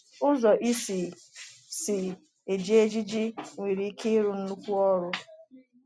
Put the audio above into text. Ụzọ ị si si eji ejiji nwere ike ịrụ nnukwu ọrụ.